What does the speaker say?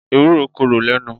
Ewúro korò lẹ́nu